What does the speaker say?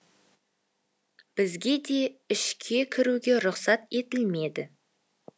бізге де ішке кіруге рұқсат етілмеді